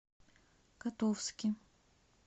котовске